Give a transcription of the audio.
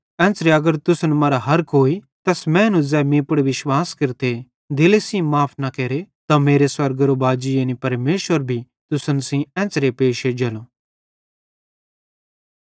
एन्च़रे अगर तुसन मरां हर कोई तैस मैनू ज़ै मीं पुड़ विश्वास केरते दिले सेइं माफ़ न केरे त मेरो स्वर्गेरे बाजी यानी परमेशर भी तुसन सेइं एन्च़रे पैश एज्जेलो